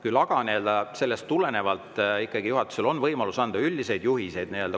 Küll aga on juhatusel võimalus anda komisjonidele laiemalt üldiseid juhiseid.